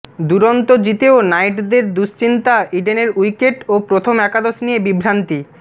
দুরন্ত জিতেও নাইটদের দুশ্চিন্তা ইডেনের উইকেট ও প্রথম একাদশ নিয়ে বিভ্রান্তি